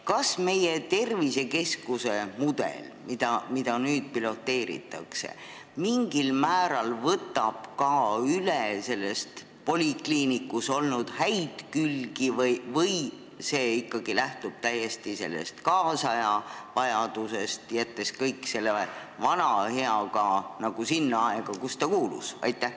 Kas meie tervisekeskuse mudel, mida nüüd piloteeritakse, võtab mingil määral üle ka polikliiniku häid külgi või lähtub see ikkagi täiesti tänapäeva vajadustest, jättes kõik selle vana hea sinna aega, kuhu ta kuulus?